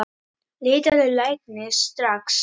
Leitaðu læknis, strax!